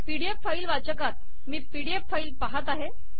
P D F file वाचकात मी PDF file पहात आहे